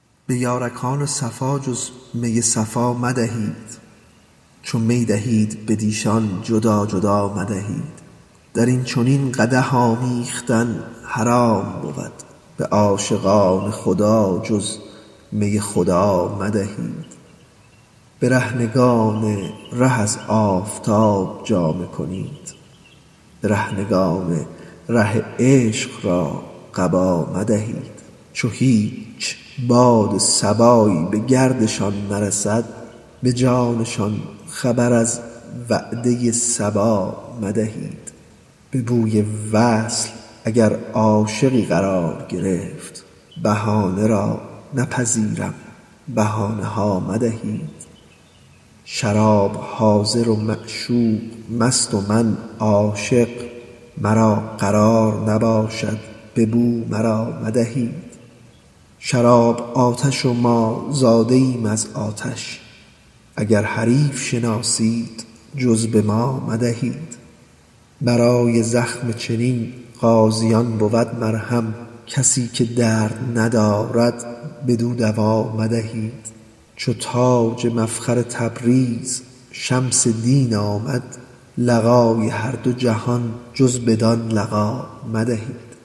به یارکان صفا جز می صفا مدهید چو می دهید بدیشان جدا جدا مدهید در این چنین قدح آمیختن حرام بود به عاشقان خدا جز می خدا مدهید برهنگان ره از آفتاب جامه کنید برهنگان ره عشق را قبا مدهید چو هیچ باد صبایی به گردشان نرسد به جانشان خبر از وعده صبا مدهید به بوی وصل اگر عاشقی قرار گرفت بهانه را نپذیرم بهانه ها مدهید شراب حاضر و معشوق مست و من عاشق مرا قرار نباشد به بو مرا مدهید شراب آتش و ما زاده ایم از آتش اگر حریف شناسید جز به ما مدهید برای زخم چنین غازیان بود مرهم کسی که درد ندارد بدو دوا مدهید چو تاج مفخر تبریز شمس دین آمد لقای هر دو جهان جز بدان لقا مدهید